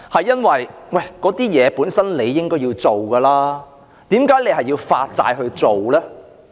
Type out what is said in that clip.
因為這些事情本身應該要做，但為何要發債來做呢？